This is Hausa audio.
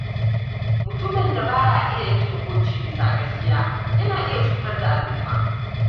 Mutumin da ba ya iya yanke hukunci bisa gaskiya yana iya cutar da al’umma.